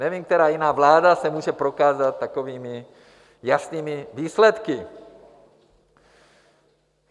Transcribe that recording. Nevím, která jiná vláda se může prokázat takovými jasnými výsledky.